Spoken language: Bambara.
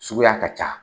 Suguya ka ca